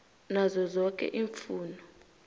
nazo zoke iimfuno